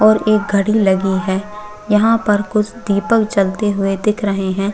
और एक घडी लगी है यहाँ पर कुछ दीपक जलते हुए दिख रहे है।